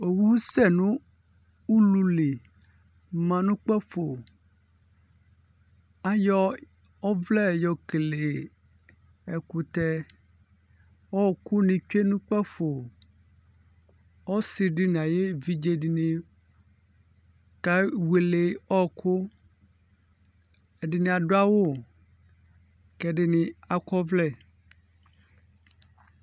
Owu sɛ nʋ ulu li ma nʋ kpǝfo Ayɔ ɔvlɛ yɔkele ɛkʋtɛ Ɔɣɔkʋnɩ tsue nʋ kpǝfo Ɔsɩ dɩ nʋ ayʋ evidze dɩnɩ kewele ɔɣɔkʋ Ɛdɩnɩ adʋ awʋ kʋ ɛdɩnɩ akɔ ɔvlɛ